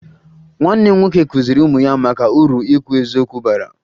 Nwanne m nwoke kụziri ụmụ ya maka uru ikwu eziokwu bara